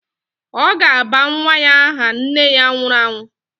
Ọ ga-aba nwa ya aha nne ya nwụrụ anwụ.